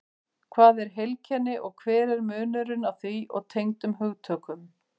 Hvað er heilkenni og hver er munurinn á því og tengdum hugtökum?